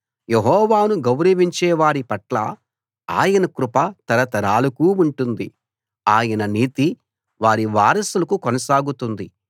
యెహోవాను గౌరవించే వారి పట్ల ఆయన కృప తరతరాలకూ ఉంటుంది ఆయన నీతి వారి వారసులకు కొనసాగుతుంది